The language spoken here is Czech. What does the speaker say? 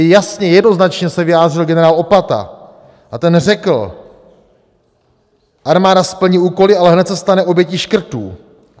I jasně, jednoznačně se vyjádřil generál Opata a ten řekl: "Armáda splní úkoly, a hned se stane obětí škrtů.